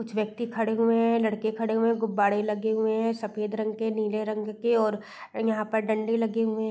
कुछ व्यक्ति खड़े हुए हैं। लड़के खड़े हुए हैं। गुब्बारे लगे हुए हैं सफेद रंग के नीले रंग के और यहाँ पे डंडे लगे हुए --